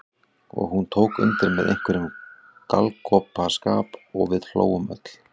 Og hún tók undir með einhverjum galgopaskap og við hlógum öll.